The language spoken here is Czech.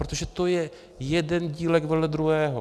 Protože to je jeden dílek vedle druhého.